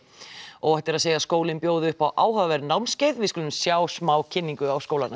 óhætt er að segja skólinn bjóði upp á áhugaverð námskeið við skulum sjá smá kynningu á skólanum